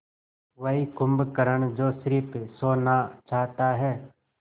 वही कुंभकर्ण जो स़िर्फ सोना चाहता है